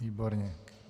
Výborně.